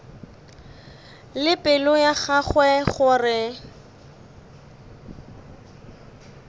le pelo ya gagwe gore